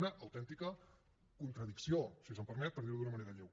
una autèntica contradicció si se’m permet per dirho d’una manera lleu